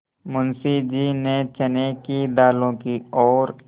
मुंशी जी ने चने के दानों की ओर